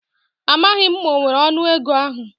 Amaghi m ma o nwere onu ego ahu